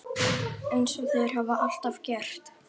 Eins og þeir hafa alltaf gert.